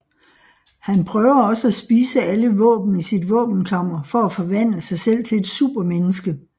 Han prøver også at spise alle våben i sit våbenkammer for at forvandle sig selv til et supermenneske